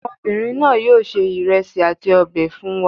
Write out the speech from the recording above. Ọmọbìnrin náà yóò se ìrẹsì àti ọbẹ̀ fún wa.